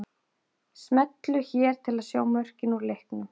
Smellu hér til að sjá mörkin úr leiknum